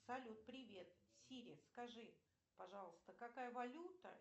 салют привет сири скажи пожалуйста какая валюта